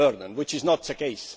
which is not the case.